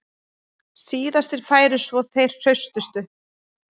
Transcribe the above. Síðastir færu svo þeir hraustustu